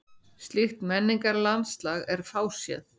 Slíkt menningarlandslag er fáséð.